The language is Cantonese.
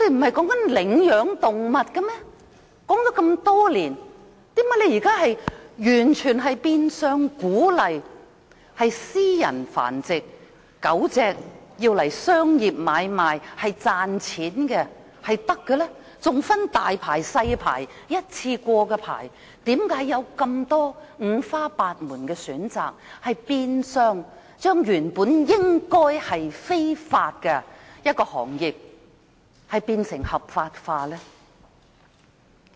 說了這麼多年，為何政府現在變相鼓勵私人繁殖狗隻，作商業買賣賺取金錢，還分"大牌"、"細牌"、單次許可證，為何訂出這五花八門的選擇，把原本應屬非法的行業合法化？